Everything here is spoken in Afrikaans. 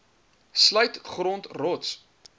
sluit grond rots